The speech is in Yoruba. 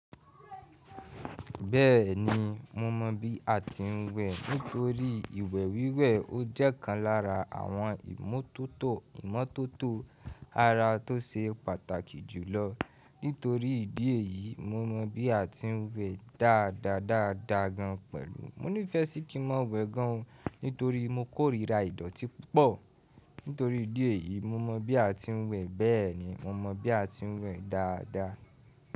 Bẹ́ẹ̀ni, mo mọ bí a ti ń wẹ̀. Nítorí ìwẹ̀ wíwẹ̀ ó jẹ́ ọ̀kan lára àwọn ìmọ́tótó ara tó ṣe pàtàkì jùlọ. Nítorí ìdí èyí, mo mọ bí a ti ń wẹ̀ dáadáa dáadáa gan pẹ̀lú mo ní fẹ́ kí n máa wẹ̀ gan ni, nítorí mo kórira ìdọ̀tí púpọ̀. Nítorí ìdí èyí, mo mọ bí a ti ń wẹ̀ bẹ́ẹ̀ni, mo mọ bí a ti ń wẹ̀ dáadáa.